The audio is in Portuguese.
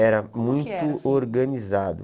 Era muito organizado.